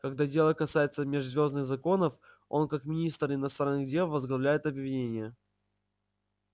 когда дело касается межзвёздных законов он как министр иностранных дел возглавляет обвинение